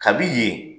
Kabi yen